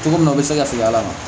Cogo min na o bɛ se ka segin a la